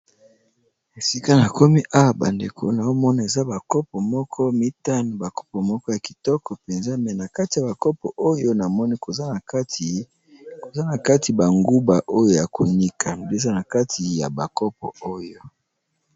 esika na komi awa bandeko na omona eza bakopo moko mitano bakopo moko ya kitoko mpenza mena kati ya bakopo oyo namoni koza na kati banguba oyo ya konika mbiza na kati ya bakopo oyo